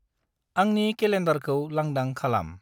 आंनि केलेन्डारखौ लांदां खालाम।